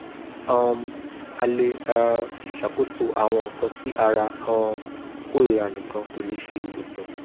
um a le um ṣakoso awọn nkan ti ara um korira nikan ko le ṣe iwosan